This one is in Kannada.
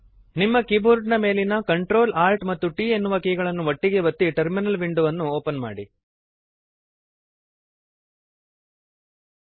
ನಿಮ್ಮ ಕೀಬೋರ್ಡ್ ಮೇಲಿನ Ctrl Alt ಮತ್ತು T ಎನ್ನುವ ಕೀಗಳನ್ನು ಒಟ್ಟಿಗೇ ಒತ್ತಿ ಟರ್ಮಿನಲ್ ವಿಂಡೋವನ್ನು ಓಪನ್ ಮಾಡಿರಿ